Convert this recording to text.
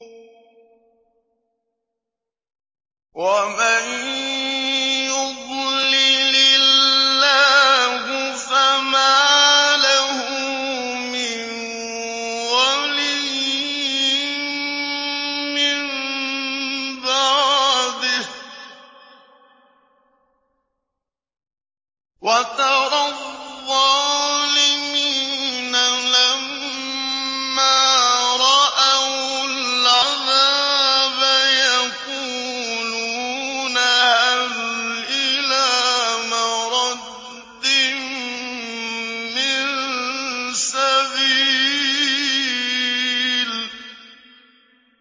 وَمَن يُضْلِلِ اللَّهُ فَمَا لَهُ مِن وَلِيٍّ مِّن بَعْدِهِ ۗ وَتَرَى الظَّالِمِينَ لَمَّا رَأَوُا الْعَذَابَ يَقُولُونَ هَلْ إِلَىٰ مَرَدٍّ مِّن سَبِيلٍ